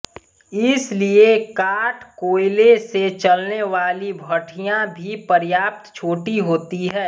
इसलिए काठ कोयले से चलनेवाली भट्ठियाँ भी पर्याप्त छोटी होती है